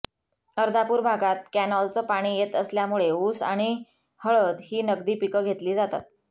अर्धापूर भागात कॅनॉलचं पाणी येत असल्यामुळे ऊस आणि हळद ही नगदी पीकं घेतली जातात